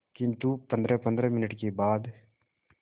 किंतु पंद्रहपंद्रह मिनट के बाद